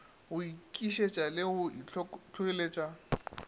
go nkišetša le go ntlhohleletša